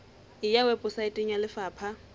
e ya weposaeteng ya lefapha